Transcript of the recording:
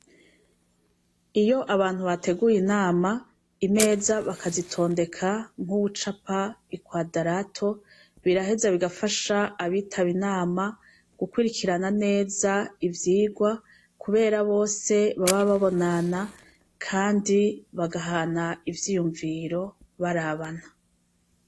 Iyo abantu bateguye Inama, Imeza bakazitondeka nk'uwucapa ikwadarato, biraheza bigafasha abitaba Inama, gukwirikirana neza ivyigwa, kubera bose baba babonana, kandi bagahana ivyiyumviro barabana.